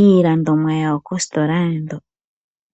iilandomwa yawo koositola ndho.